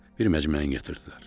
Bir məcməyi gətirdilər.